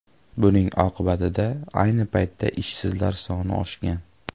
Buning oqibatida ayni paytda ishsizlar soni oshgan.